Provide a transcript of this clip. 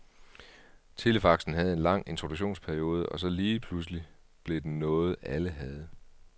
Telefaxen havde en lang introduktionsperiode, og så lige pludselig blev den noget, alle havde.